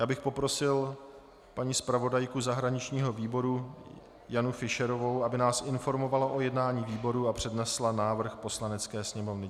Já bych poprosil paní zpravodajku zahraničního výboru Janu Fischerovou, aby nás informovala o jednání výboru a přednesla návrh Poslanecké sněmovně.